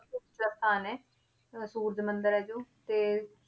ਸਭ ਤੋਂ ਉੱਚਾ ਸਥਾਨ ਹੈ ਅਹ ਸੂਰਜ ਮੰਦਿਰ ਹੈ ਜੋ ਤੇ